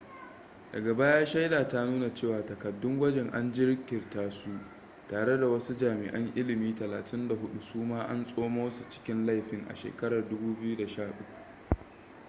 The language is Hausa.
daga baya shaida ta nuna cewa takaddun gwajin an jirkita su tare da wasu jami'an ilimi 34 suma an tsoma su cikin laifin a shekarar 2013